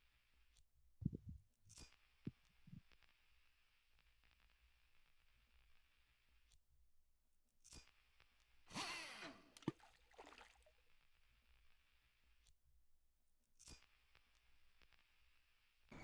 suuraa kana irratti kan agarru nyaata yoo ta,u kan inni of keessatti qabate jiruus timaatima, foon, qaaraa, qullubbii, akkasumas mi'eessituu gosa garaagaraa of keessaa qaba. meeshaan nyaanni keessa jiru meeshaa suphee irraa hojjetameedha.